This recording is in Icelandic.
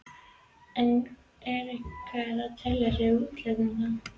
En er einhver sem telur sig geta útilokað það?